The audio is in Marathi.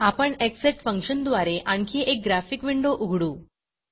आपण एक्ससेट फंक्शनद्वारे आणखी एक ग्राफिक विंडो उघडू